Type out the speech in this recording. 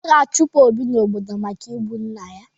A ga-achụpụ Obi n'obodo maka igbu nna ya.